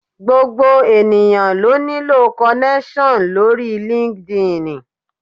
Gbogbo ènìyàn ló nílò kọnẹ́ṣọ̀n lóri línkídinì.